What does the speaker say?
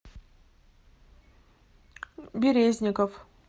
березников